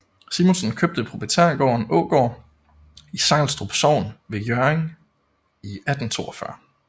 Simonsen købte proprietærgården Ågård i Sejlstrup Sogn ved Hjørring i 1842